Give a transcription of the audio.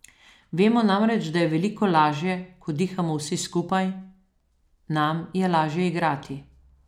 Vemo namreč, da je veliko lažje, ko dihamo vsi skupaj, nam je lažje igrati.